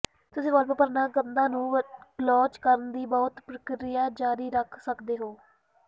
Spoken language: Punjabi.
ਤੁਸੀਂ ਵਾਲਪੇਪਰ ਨਾਲ ਕੰਧਾਂ ਨੂੰ ਗਲੋਚ ਕਰਨ ਦੀ ਬਹੁਤ ਪ੍ਰਕਿਰਿਆ ਜਾਰੀ ਰੱਖ ਸਕਦੇ ਹੋ